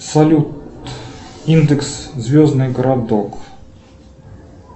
салют индекс звездный городок